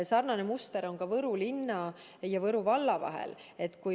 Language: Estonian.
Sarnane muster on Võru linna ja Võru valla puhul.